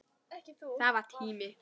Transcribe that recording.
Það var tími.